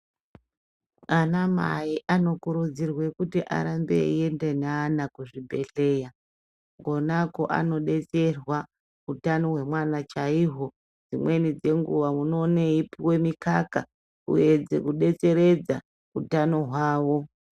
Ana mai anokurudzirwe kuti arambe eienda neana kuzvibhedhleya kona koanobetserwa hutano hwemwana chaiho. Dzimweni dzenguva unoone eipuva mikaka kuedze kubetseredza utano hwavo.